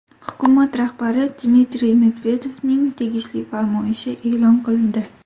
Hukumat rahbari Dmitriy Medvedevning tegishli farmoyishi e’lon qilindi.